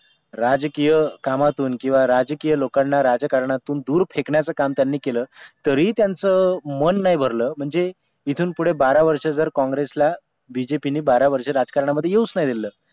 राजकीय कामातून किंवा राजकीय लोकांना राजकारणातून दूर फेकण्याचा काम त्यांनी केलं तरीही त्यांचं मन नाही भरलं म्हणजे इथून पुढे बारा वर्ष जर काँग्रेसला बीजेपी ने बारा वर्ष राजकारणामध्ये येऊच नाही दिलेलं